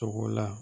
Togo la